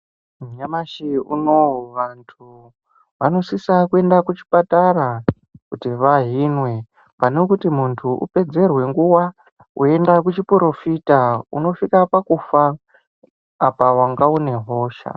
Nyamashi unou vantu vanosisa kuenda kuchipatara kuti vaihinwe pane kuti muntu upedzerwe nguwa uchienda kuchiporofita unosvika pakufa apa wanga une hosha.